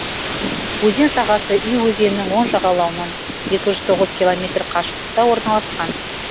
өзен сағасы үй өзенінің оң жағалауынан екі жүз тоғыз километр қашықтықта орналасқан